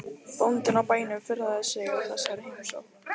Bóndinn á bænum furðaði sig á þessari heimsókn.